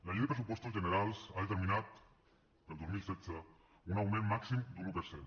la llei de pressupostos generals ha determinat per al dos mil setze un augment màxim d’un un per cent